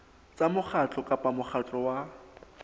tsa mokgatlo kapa mokgatlo wa